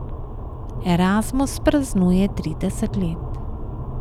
Erasmus praznuje trideset let.